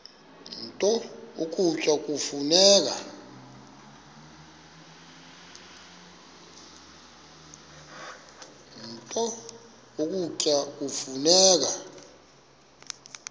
nto ukutya kufuneka